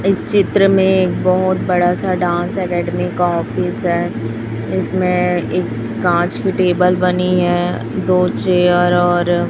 चित्र में एक बहुत बड़ा सा डांस एकेडमी का ऑफिस है इसमें एक कांच की टेबल बनी है दो चेयर और--